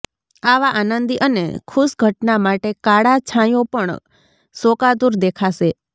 આવા આનંદી અને ખુશ ઘટના માટે કાળા છાંયો પણ શોકાતુર દેખાશે